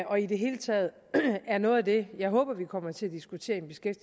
og i det hele taget er noget af det jeg håber vi kommer til at diskutere